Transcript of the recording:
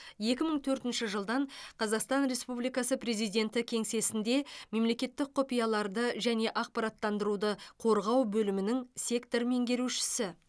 екі мың төртінші жылдан қазақстан республикасы президенті кеңсесінде мемлекеттік құпияларды және ақпараттандыруды қорғау бөлімінің сектор меңгерушісі